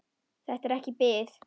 Þetta er ekki bið.